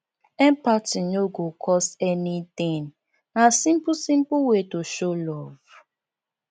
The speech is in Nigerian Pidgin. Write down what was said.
empathy no go cost anything na simple simple way to show love